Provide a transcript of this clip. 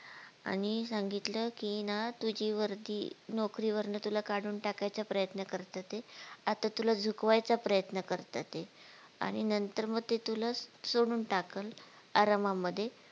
आणि सांगितलं कि हे ना तू जी वरती नोकरीवरन तुला काढून टाकायचा प्रयत्न करता ते आता तुला झुकवायचा प्रयत्न करता ते आणि नंतर मग ते तुला सोडून टाकल आरमामध्ये